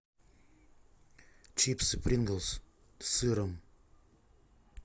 чипсы принглс с сыром